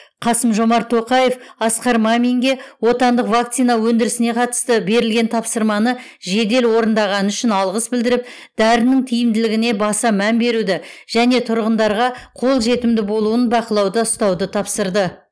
қасым жомарт тоқаев асқар маминге отандық вакцина өндірісіне қатысты берілген тапсырманы жедел орындағаны үшін алғыс білдіріп дәрінің тиімділігіне баса мән беруді және тұрғындарға қол жетімді болуын бақылауда ұстауды тапсырды